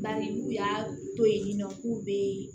Bari n'u y'a to yen nɔ k'u bɛ